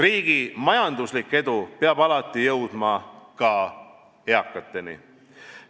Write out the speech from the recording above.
Riigi majanduslik edu peab alati jõudma ka eakateni.